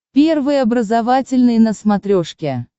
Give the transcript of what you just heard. первый образовательный на смотрешке